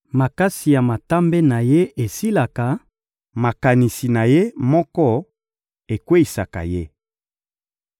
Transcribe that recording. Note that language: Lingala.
Makasi ya matambe na ye esilaka, makanisi na ye moko ekweyisaka ye.